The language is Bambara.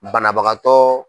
Banabagatɔ.